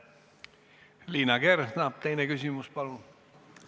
Liina Kersna, teine küsimus, palun!